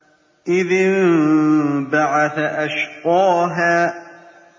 إِذِ انبَعَثَ أَشْقَاهَا